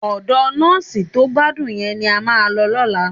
Ọ̀dọ nọ́ọ̀sì tó gbádùn yẹn ni a máa lọ lọ́la